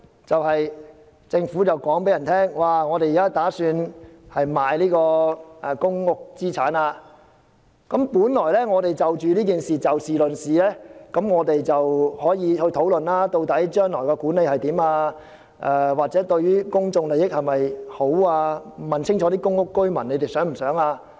政府表示打算出售公屋資產，我們本來可就此事議事論事，討論究竟將來如何管理，或者此舉是否符合公眾利益，並且清楚了解公屋居民的想法。